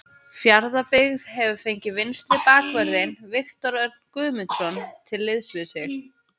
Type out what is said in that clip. Fjarðabyggð hefur fengið vinstri bakvörðinn Viktor Örn Guðmundsson til liðs við sig.